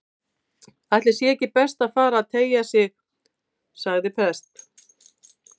Ætli sé ekki best að fara að tygja sig- sagði prest